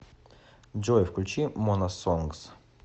джой включи мона сонгс